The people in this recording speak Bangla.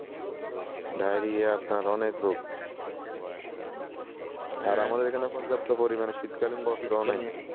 ডায়েরিয়া আপনার অনেক রোগ আর আমাদের এখানে পর্যাপ্ত পরিমানে শীতকালীন বস্ত্রও নাই ।